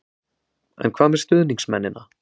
En hvað með stuðningsmennina?